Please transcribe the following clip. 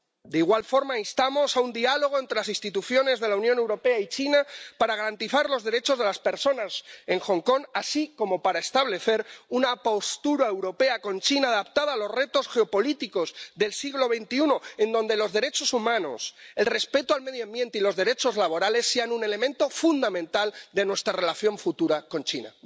De igual forma, instamos a un diálogo entre las instituciones de la Unión Europea y China, para garantizar los derechos de las personas en Hong Kong, así como para establecer una postura europea con China adaptada a los retos geopolíticos del siglo XXI, en donde los derechos humanos, el respeto al medio ambiente y los derechos laborales sean un elemento fundamental de nuestra relación futura con China.